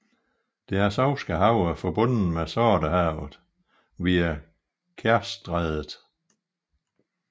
Det Azovske Hav er forbundet med Sortehavet via Kertjstrædet